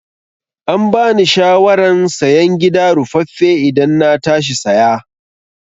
Ambani shawaran sayen gida ruffafe idan na tashi saya